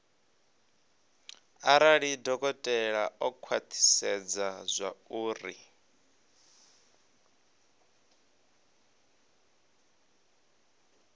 arali dokotela o khwathisedza zwauri